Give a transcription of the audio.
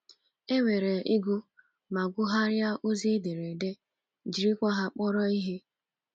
E nwere ịgụ ma gụgharịa ozi ederede — jirikwa ha kpọrọ ihe.